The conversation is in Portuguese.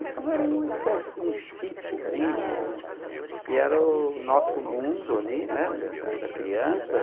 Então, era uma espécie de um sitiozinho, um que era o nosso mundo ali, né, da da criança.